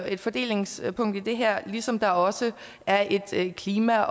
et fordelingspunkt i det her ligesom der også er et klima